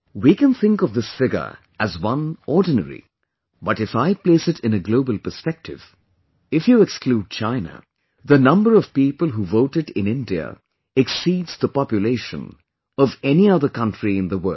We can think of this figure as one ordinary but if I place it in a global perspective, if you exclude China, the number of people who voted in India exceeds the population of any other country in the world